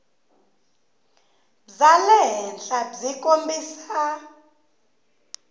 bya le henhla byi kombisa